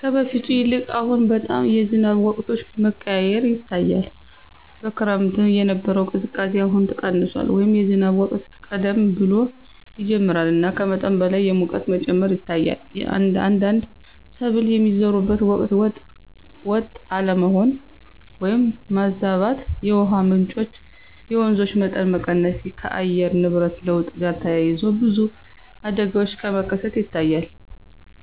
ከበፊቱ ይልቅ አሁን በጣም የዝናብ ወቅቶች መቀያየር ይታያል። በክረምት የነበረው ቅዝቃዜ አሁን ቀንሷል” ወይም “የዝናብ ወቅት ቀደም ብሎ ይጀምራል እና ከመጠን በላይ የሙቀት መጨመር ይታያል። አንዳንድ ሰብል የሚዘሩበት ወቅት ወጥ አለመሆን (ማዛባት)።የውሃ ምንጮች (የወንዞች) መጠን መቀነስ። ከአየር ንብረት ለውጥ ጋር ተያይዞ ብዙ አደጋዎች መከሰት ይታያል